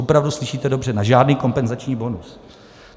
Opravdu, slyšíte dobře, na žádný kompenzační bonus.